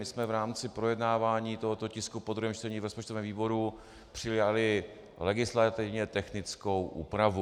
My jsme v rámci projednávání tohoto tisku po druhém čtení v rozpočtovém výboru přijali legislativně technickou úpravu.